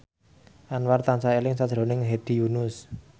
Anwar tansah eling sakjroning Hedi Yunus